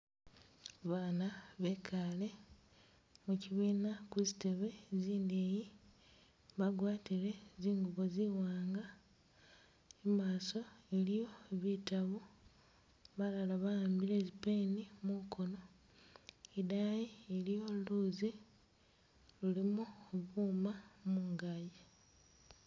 Baana bekale muchibiina kuzitebe zindeyi bagwatile zingubo ziwanga imaaso iliyo bitabu balala bahambile zi pen mukono, idayi iliyo luuzi lulimo buuma mungazi.